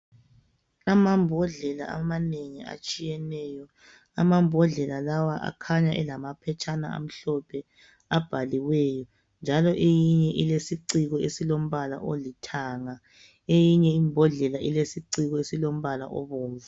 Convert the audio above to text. Amambodlela amanengi atshiyeneyo. Amambodlela lawa akhanya elamaphetshana amhlophe, abhaliweyo. Njalo eyinye ilesiciko esilombala olithanga, eyinye imbodlela ilesiciko esilombala obomvu.